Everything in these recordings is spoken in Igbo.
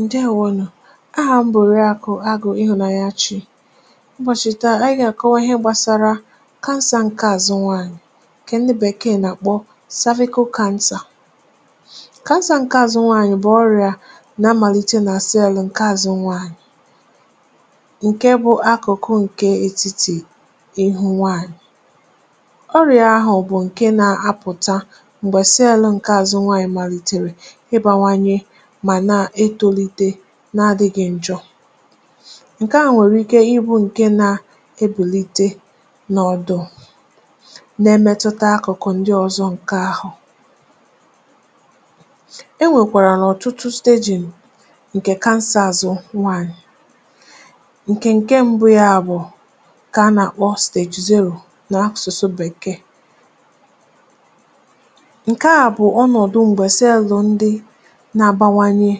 Ǹdèewonù. Ahà m̀ bụ̀ Òrìàkụ̀ Àgụ̀ Ịhụ̀nànyà Chi Mgbọ̀chìta. Ànyị̀ gà-àkọwa ihe gbàsàrà Cancer ǹke Àzụ̀ Nwaanyị̀, kà ǹdị Bèkee nà-àkpọ Cervical Cancer. um Cancer ǹke Àzụ̀ Nwaanyị̀ bụ̀ ọ̀rịa nà-amàlite n’àsị elu̇ ǹke àzụ̀ nwaanyị̀, ǹke bụ̀ àkùkù ǹkè etitì ịhụ̇ nwaanyị̀. Ọ̀rịa ahụ̀ bụ̀ ǹke nà-apụ̀tà m̀gbè sị elu̇ ǹke àzụ̀ nwaanyị̀ màlìtèrè n’adị̇ghị̇ ǹjọ̀. Ǹkè a nwèrè ike ịbụ̇ ǹkè nà-ebèlite n’ọ̀dụ̀, na-emetụta àkùkù ndị ọ̀zọ̀ n’ahụ̀. E nwekwàrà ọ̀tụtụ stéjìm ǹkè Cancer Àzụ̀ Nwaanyị̀. Ǹkè ǹke mbụ ya bụ̀ ǹkè a nà-àkpọ Stage Zero n’akwụsị̀sụ Bèkee. Ǹkè a bụ̀ ọnọ̀dụ̀ m̀gbè cell ndị na-abawanye,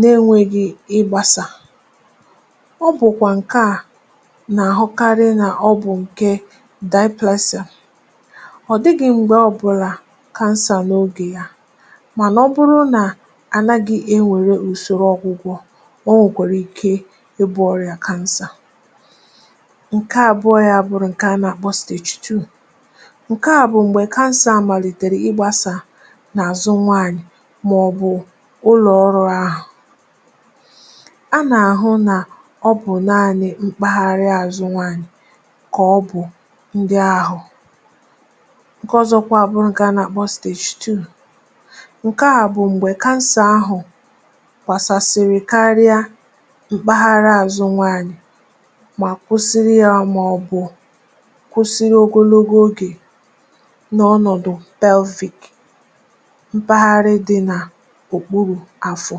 na-enwėghị̇ ịgbàsà. Ọ̀ bụ̀kwà ǹkè a nà-àhụkarị nà ọ̀ bụ̀ ǹkè diplasị, ọ̀ dịghị̇ m̀gbè ọbụ̇là Cancer n’ogè yȧ, mà ọ bụrụ nà ànaghị̇ e nwèrè ùsòrò ọ̀gwụ̀gwọ̇, o nwekwàrà ike ịbu̇ ọrụ yȧ. Cancer ǹke Àbụọ̇ ya bụ̀ ǹkè a nà-àkpọ Stage Two. Ǹkè à bụ̀ m̀gbè kansà àmàlìtèrè ịgbàsà n’àzụ̀ nwaanyị̀, màọ̀bụ̀ a nà-àhụ nà ọ̀ bụ̀ naanị̇ mkpagharị àzụ̀ nwaanyị̀. Kà ọ bụ̀ ndị ahụ̀ nke ọzọkwa, abụrụ ǹkè a nà-àkpọ Stage Three, ǹkè à bụ̀ m̀gbè Cancer ahụ̀ gbàsàsị̀rị̀ karịa mkpagharị àzụ̀ nwaanyị̀, mà kwụsịrị yà ọmà, ọ bụ̀ kwụsịrị ogologo ogè n’ọnọ̀dụ̀ Pelvic, mpaghara dị̇ nà òkpuru afọ̀.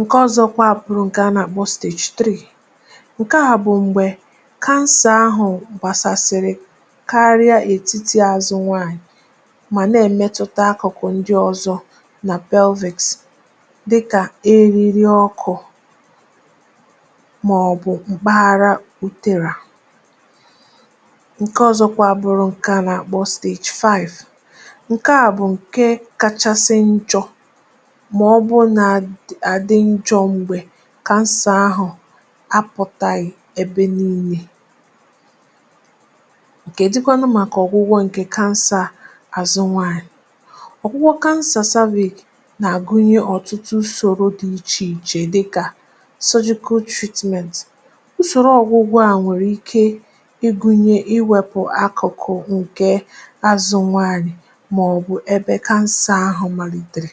Ǹkè ọ̀zọkwa bụ̀ ǹkè a nà-àkpọ Stage Four. Ǹkè à bụ̀ m̀gbè kansà ahụ̀ m̀gbàsàsị̀rị̀ karịa etiti àzụ̀ nwaanyị̀, mà nà-emetụta àkùkù ndị ọ̀zọ̀ nà Pelvìks, dịkà eriri ọkụ̇, mà ọ̀ bụ̀ m̀kpaghara uterà. Ǹkè à bụ̀kwà ǹkè kachasị àdị̀njọ̇ — m̀gbè kansà ahụ̀ apụ̀tàghị̀ ebe n’inyè, ǹkè dịkwanụ̀ maka ọ̀gwụ̀gwọ̇. um Ọ̀gwụ̀gwọ̇ ǹkè Cancer Àzụ̀ Nwaanyị̀ nà-àgụnye ọ̀tụtụ ùsòrò dị iche iche, dịkà sọjikọta Treatment ùsòrò ọ̀gwụ̀gwọ̇. À nwèrè ike ịgụ̇nyė ịwepù àkùkù ǹkè àzụ̀ nwaanyị̀, màọ̀bụ̀ ebe kansà ahụ̀ màlìtèrè.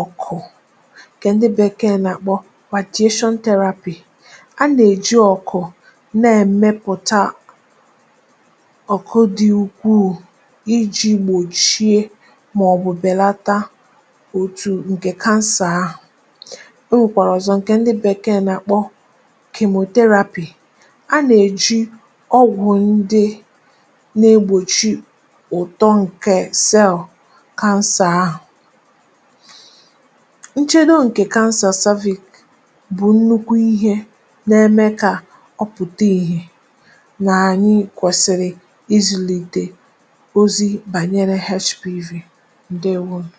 Ọ̀kụ̀, ǹkè ndị Bèkee nà-àkpọ Radiation Therapy, a nà-èji ọ̀kụ̀ na-èmepụ̀ta ọ̀kụ̀ dị ukwu iji̇ gbòchie, màọ̀bụ̀ bèlata òtù ǹkè kansà ahụ̀. O nwekwàrọ̀zọ̀ ǹkè ndị Bèkee nà-àkpọ Chemotherapy, a nà-èji ọgwụ̀ ndị nà-egbòchi ụ̀tọ ǹkè Cell nche nọ n’ǹkè kansà. Cervical Cancer bụ̀ nnukwu ihe nà-eme kà ọ pụ̀ta ìhè, nà ànyị kwẹ̀sịrị izùlìtè ozi bànyere HPV. Ǹdèewonù.